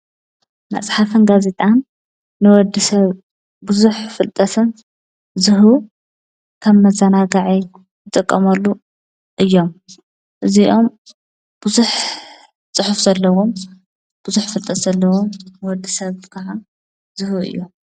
መጽሓፍን ጋዚጣን ንወዲ ሰብ ብዙኅ ፍልጠሰን ዙሁቡ ከም መዛናጋዒ ዘጥቀመሉ እዮም። እዚይዮም ብዙኅ ጽሑፍ ዘለዎም ብዙኅ ፍልጠስ ዘለዎም ንወዲ ሰብ ከዓ ዝህቡ እዮም።